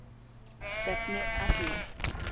Stefni að því.